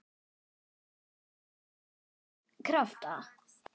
Fín- Í meðal- Krafta